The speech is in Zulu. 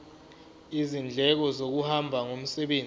izindleko zokuhamba ngomsebenzi